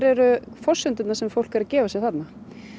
eru forsendurnar sem fólk er að gefa sér þarna